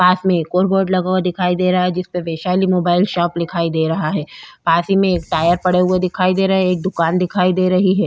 पास मे एक और बोर्ड लगा हुआ दे रहा है जिसमें वैशाली मोबाइल शॉप दिखाई दे रहा है। पास ही में टायर पड़े हुए दिखाई दे रहे हैं। एक दुकान दिखाई दे रही है।